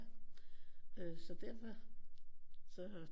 Øh så derfor så